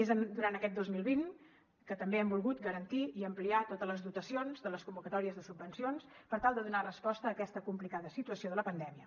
és durant aquest dos mil vint que també hem volgut garantir i ampliar totes les dotacions de les convocatòries de subvencions per tal de donar resposta a aquesta complicada situació de pandèmia